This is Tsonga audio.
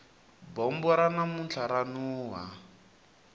bombo ra namuntlha ra nuha